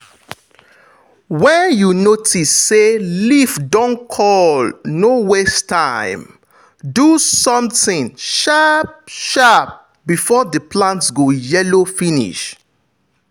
when you notice say leaf don curl no waste time- do something sharp-sharp before the plant go yellow finish.